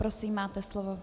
Prosím, máte slovo.